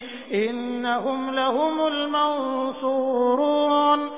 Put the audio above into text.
إِنَّهُمْ لَهُمُ الْمَنصُورُونَ